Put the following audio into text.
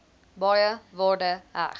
baie waarde heg